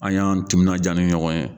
An y'an timinanjaa ni ɲɔgɔn ye.